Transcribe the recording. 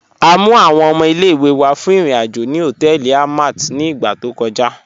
À mú àwọn ọmọ ilẹ̀-ìwé wá fún irin-ajo ni họtẹẹlì Àlmàt ni ìgbà tó kọ̀já.